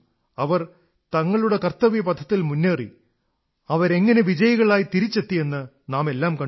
അവർ തങ്ങളുടെ കർത്തവ്യപഥത്തിൽ മുന്നേറി അവരെങ്ങനെ വിജയികളായി തിരിച്ചെത്തിയെന്ന് നാമെല്ലാം കണ്ടു